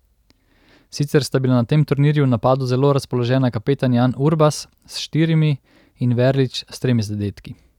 Sicer sta bila na tem turnirju v napadu zelo razpoložena kapetan Jan Urbas s štirimi in Verlič s tremi zadetki.